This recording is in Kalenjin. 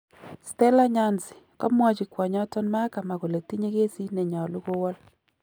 Stella Nyanzi: Kamwochi kwonyoton Mahakama kole tinye Kesit nenyolu kewol.